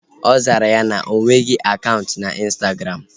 Ọ zara ya na onweghị akaụntụ na ịnstagram